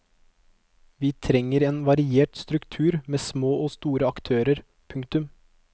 Vi trenger en variert struktur med små og store aktører. punktum